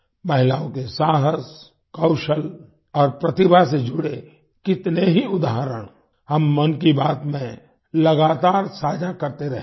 महिलाओं के साहस कौशल और प्रतिभा से जुड़े कितने ही उदाहरण हम मन की बात में लगातार साझा करते रहे हैं